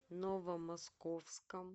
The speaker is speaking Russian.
новомосковском